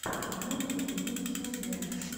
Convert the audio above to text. юни в ютьюбе